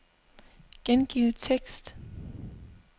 Gengiv tekst.